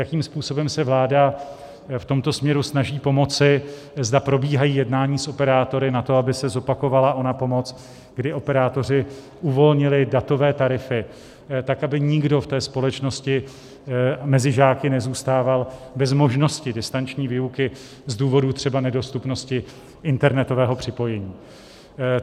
Jakým způsobem se vláda v tomto směru snaží pomoci, zda probíhají jednání s operátory na to, aby se zopakovala ona pomoc, kdy operátoři uvolnili datové tarify, tak aby nikdo v té společnosti mezi žáky nezůstával bez možnosti distanční výuky z důvodu třeba nedostupnosti internetového připojení.